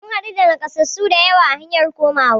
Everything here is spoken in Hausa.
Mun haɗu da nakasassu dayawa a hanyar komawa